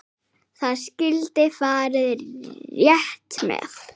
Það skyldi farið rétt með.